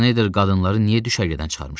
Şneyder qadınları niyə düşərgədən çıxarmışdı?